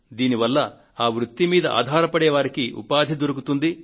దీనివల్ల ఆ వృత్తి మీద ఆధారపడే వారికి ఉపాధి దొరుకుతుంది